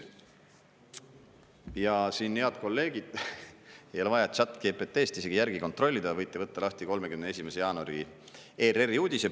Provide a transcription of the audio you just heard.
Ja siin, head kolleegid, ei ole vaja Chat GPT-st isegi järgi kontrollida, võite võtta lahti 31. jaanuari ERR-i uudise.